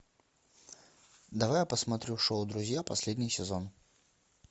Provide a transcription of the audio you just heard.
давай я посмотрю шоу друзья последний сезон